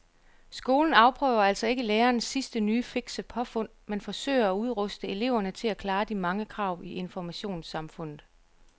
Skolen afprøver altså ikke lærernes sidste nye fikse påfund men forsøger at udruste eleverne til at klare de mange krav i informationssamfundet.